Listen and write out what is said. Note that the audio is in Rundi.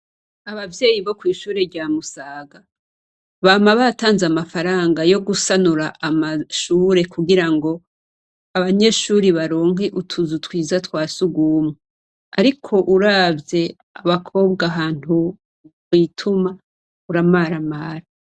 Abavyeyi bo kw'ishure rya Musaga, bama batanze amafaranga yo gusanura amashure kugira ngo abanyeshure baronke utuzu twiza twa sugumwe. Ariko uravye abakobwa ahantu bituma uramaramara.